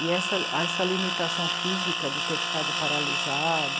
E essa, essa limitação física de ter ficado paralisado,